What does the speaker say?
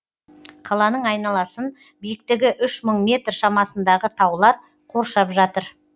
қаланың айналасын биіктігі үш мың метр шамасындағы таулар қоршап жатыр